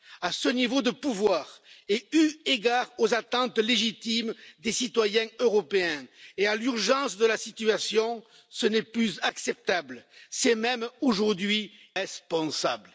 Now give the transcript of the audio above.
À ce niveau de pouvoir et eu égard aux attentes légitimes des citoyens européens comme à l'urgence de la situation, ce n'est plus acceptable c'est même aujourd'hui irresponsable.